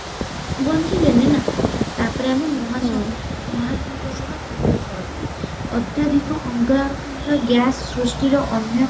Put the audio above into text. ବଞ୍ଚିଲେନି ନା ତା ପରେ ଆମେ ମହା ମହାସାଗରର ଅମ୍ଳ ଅତ୍ୟଧିକ ଅଙ୍ଗାରକାମ୍ଳ gas ସୃଷ୍ଟିର ଅନ୍ୟ